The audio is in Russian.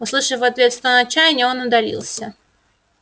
услышав в ответ стон отчаяния он удалился